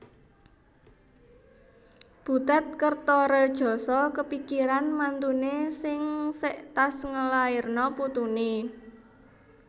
Butet Kertaredjasa kepikiran mantune sing sek tas ngelairno putune